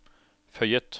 føyet